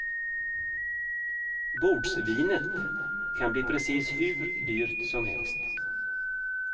Bordsvinet kan bli precis hur dyrt som helst.